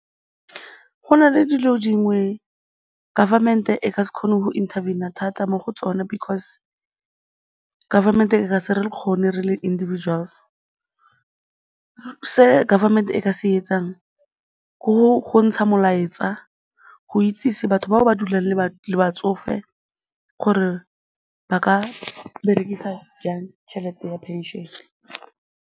Go na le dilo dingwe government-e e ka se kgone go interven-a thata mo go tsone because government e ka se re kgone re le individuals. Se governmennt-e e ka se etsang ke go ntsha molaetsa go itsese batho bao ba dulang le batsofe gore ba ka berekisa jang tšhelete ya pension-e.